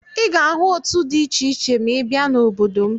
Ị ga-ahụ òtù dị iche iche ma ị bịa n'obodo m.